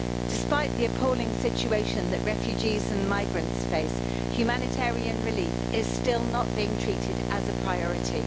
Despite the appalling situation that refugees and migrants face, humanitarian relief is still not being treated as a priority.